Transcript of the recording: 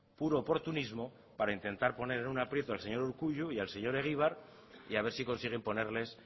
puro oportunismo para intentar poner en un aprieto al señor urkullu y al señor egibar y a ver si consiguen ponerles